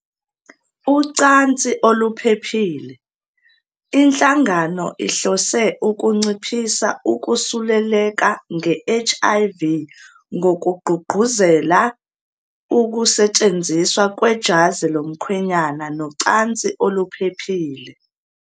Ucansi oluphephile. Inhlangano ihlose ukunciphisa ukusuleleka nge-HIV ngokugqugquzela [] ukusetshenziswa kwejazi lomkhwenyana nocansi oluphephile.